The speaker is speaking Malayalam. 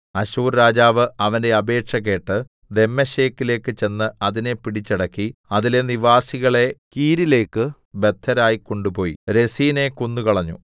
അശ്ശൂർ രാജാവ് അവന്റെ അപേക്ഷ കേട്ട് ദമ്മേശെക്കിലേക്ക് ചെന്ന് അതിനെ പിടിച്ചടക്കി അതിലെ നിവാസികളെ കീരിലേക്ക് ബദ്ധരായി കൊണ്ടുപോയി രെസീനെ കൊന്നുകളഞ്ഞു